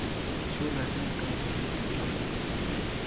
tshola jaaka bosupi jwa kopo